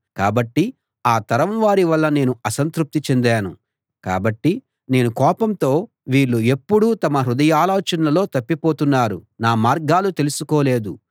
కాబట్టి ఆ తరం వారి వల్ల నేను అసంతృప్తి చెందాను కాబట్టి నేను కోపంతో వీళ్ళు ఎప్పుడూ తమ హృదయాలోచనల్లో తప్పిపోతున్నారు నా మార్గాలు తెలుసుకోలేదు